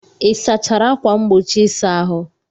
Ị sachara ákwà mgbochi ịsa ahụ?